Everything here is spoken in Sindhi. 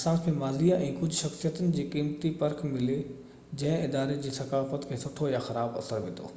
اسان کي ماضي ۽ ڪجهہ شخصيتن جي قيمتي پرک ملي جنهن اداري جي ثقافت کي سٺو يا خراب اثر وڌو